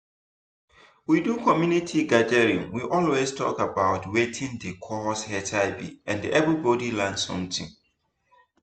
we do community gathering we always talk about watin dey cause hiv and everybody learn something.